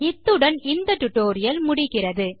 இத்துடன் இந்த spoken tutorial முடிகிறது